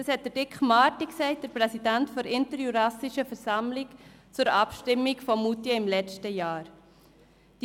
Das hat Dick Marty, Präsident der Interjurassischen Versammlung, zur Abstimmung von Moutier im letzten Jahr gesagt.